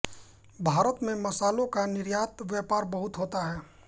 भारत से मसालों का निर्यात व्यापार बहुत होता है